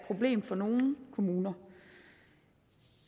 problem for nogle kommuner